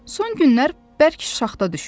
Son günlər bərk şaxta düşmüşdü.